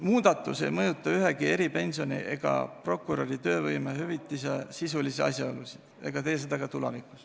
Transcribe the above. Muudatus ei mõjuta ühegi eripensioni ega prokuröri töövõimehüvitise sisulisi asjaolusid.